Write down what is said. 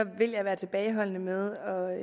vil jeg være tilbageholdende med at